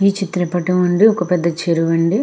ఈ చిత్రపటం నందు ఒక పెద్ద చరువు అండి.